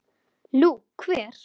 Nú, hver?